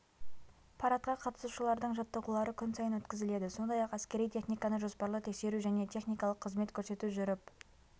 парадқа қатысушылардың жаттығулары күн сайын өткізіледі сондай-ақ әскери техниканы жоспарлы тексеру және техникалық қызмет көрсету жүріп